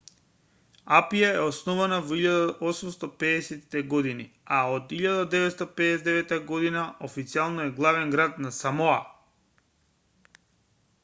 апија е основана во 1850-те години а од 1959 година официјално е главен град на самоа